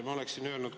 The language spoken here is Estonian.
Ma oleksin öelnud ...